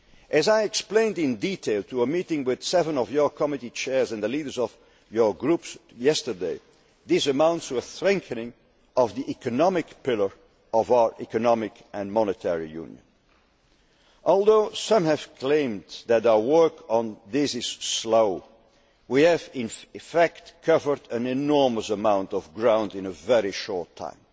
needed. As I explained in detail to a meeting with seven of your committee chairs and the leaders of your groups yesterday, this amounts to a strengthening of the economic pillar of our Economic and Monetary Union. Although some have claimed that our work on this is slow, we have in fact covered an enormous amount of ground in a very short